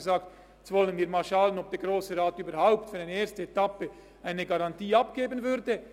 Ich sagte, jetzt wollen wir erst mal schauen, ob der Grosse Rat überhaupt für eine erste Etappe eine Garantie abgeben wird.